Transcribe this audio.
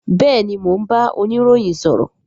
Bẹẹni, mo ń bá oniroyin sọ̀rọ̀